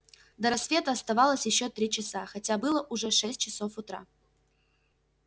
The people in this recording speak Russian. до рассвета оставалось ещё три часа хотя было уже шесть часов утра